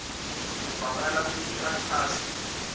ivakala futsi ichazwe